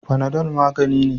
Fanadol magani ne.